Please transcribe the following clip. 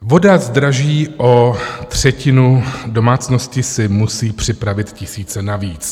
Voda zdraží o třetinu, domácnosti si musí připravit tisíce navíc.